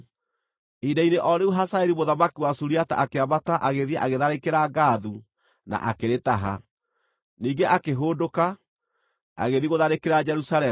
Ihinda-inĩ o rĩu Hazaeli mũthamaki wa Suriata akĩambata agĩthiĩ agĩtharĩkĩra Gathu na akĩrĩtaha. Ningĩ akĩhũndũka, agĩthiĩ gũtharĩkĩra Jerusalemu.